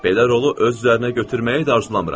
Belə rolu öz üzərinə götürməyi də arzulamıram.